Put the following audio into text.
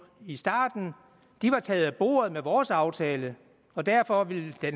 i starten taget af bordet med vores aftale og derfor ville